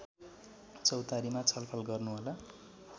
चौतारीमा छलफल गर्नुहोला